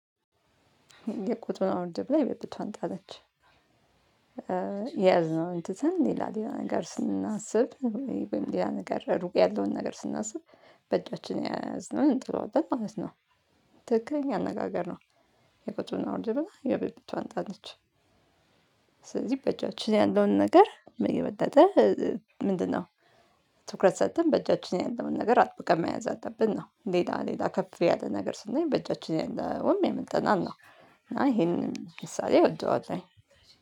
የቆጡን አወርድ ብላ የብብቷን ጣለች የያዝነውን ትተን ሌላ ሌላ ነገር ስናስብ ወይም ሌላ ነገር ሩቅ ያለውን ነገር ስናስብ በእጃችን የያዝነውን እንጥለዋለን ማለት ነው። ትክክለኛ አነጋገር ነው። የቆጡን አወርድ ብላ የብብቷን ጣለች። ስለዚህ በእጃችን ያለውን ነገር ምን የበለጠ ምንድነው ትኩረት ሰጥተን በእጃችን ያለውን ነገር አጥብቀን መያዝ አለብን ነው? ሌላ ሌላ ከፍ ያለ ነገር ስንመኝ በእጃችን ያለውም ያመልጠናል ነው። ይሄንን ምሳሌ እወደዋልለሁኝ